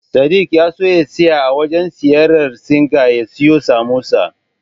Sadik ya so ya tsaya a wajen siyayyar Singa ya siyo Samosa.